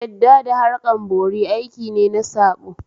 Yadda da harkan bori aiki ne na saɓo